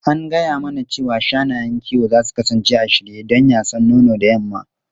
An gaya mana cewa shanayen kiwo za su kasance a shirye don yasan nono da yamma.